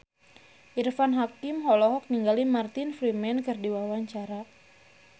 Irfan Hakim olohok ningali Martin Freeman keur diwawancara